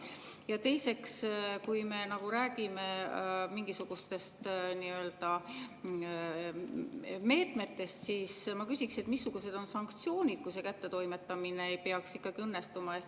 Ja teiseks, kui me räägime mingisugustest meetmetest, siis ma küsiksin, et missugused on sanktsioonid, kui see kättetoimetamine ei peaks õnnestuma.